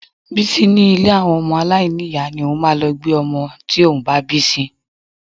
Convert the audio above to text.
Bísí ní ilé àwọn ọmọ aláìní ìyá ni òun máa lọ gbé ọmọ tí òun bá bí sí